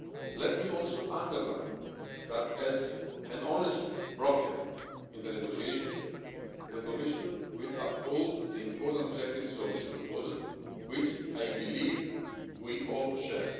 Let me also underline that, as an honest broker in the negotiations, the Commission will uphold the important objectives of this proposal, which I believe we all share.